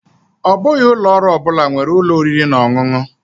Ọ bụghị ụlọ ọrụ ọ bụla nwere ụlọ oriri na ọṅụṅụ.